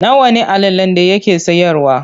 Nawa ne allalen da yake siyarwa?